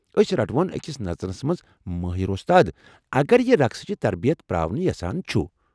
اسۍ رٹون اكس نژنس منز مٲہِر ووستاد اگر یہِ رقسٕچ تربِیت پراوٕنۍ یژھان چھُ ۔